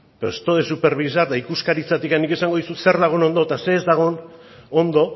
pero esto de supervisar eta ikuskaritzatik nik esango dizut zer dagoen ondo eta zer ez dagoen ondo